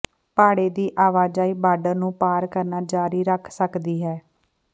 ਭਾੜੇ ਦੀ ਆਵਾਜਾਈ ਬਾਰਡਰ ਨੂੰ ਪਾਰ ਕਰਨਾ ਜਾਰੀ ਰੱਖ ਸਕਦੀ ਹੈ